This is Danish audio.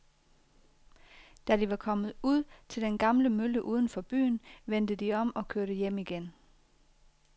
Da de var kommet ud til den gamle mølle uden for byen, vendte de om og kørte hjem igen.